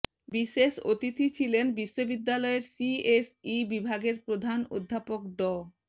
বিশেষ অতিথি ছিলেন বিশ্ববিদ্যালয়ের সিএসই বিভাগের প্রধান অধ্যাপক ড